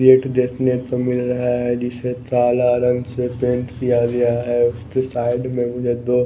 gate देखने पर मिल रहा है जिसे कला रंग से पेंट किया गया है उसके साइड में मुझे दो--